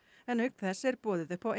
en auk þess er boðið upp á